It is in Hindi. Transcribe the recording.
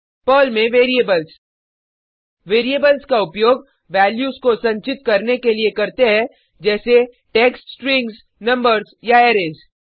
पर्ल में वेरिएबल्स वेरिएबल्स का उपयोग वैल्यूज को संचित करने के लिए करते है जैसे टेक्स्ट स्ट्रिंग्स नंबर्स या अरैज